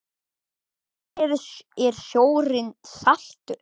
Af hverju er sjórinn saltur?